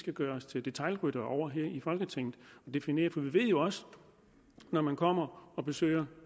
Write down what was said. skal gøre os til detailryttere over her i folketinget og definere for vi ved jo også at når man kommer og besøger